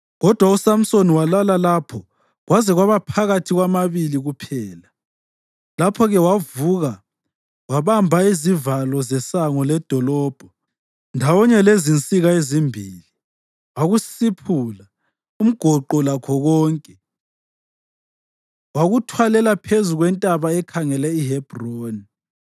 Kodwa uSamsoni walala lapho kwaze kwaba phakathi kwamabili kuphela. Lapho-ke wavuka wabamba izivalo zesango ledolobho, ndawonye lezinsika ezimbili, wakusiphula, umgoqo lakho konke. Wakwetshata emahlombe akhe, wakuthwalela phezu kwentaba ekhangele iHebhroni.